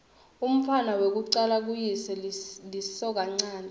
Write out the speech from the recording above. umntfwana wekucala kuyise lisokanchanti